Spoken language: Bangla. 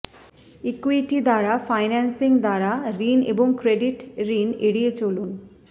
ইক্যুইটি দ্বারা ফাইন্যান্সিং দ্বারা ঋণ এবং ক্রেডিট ঋণ এড়িয়ে চলুন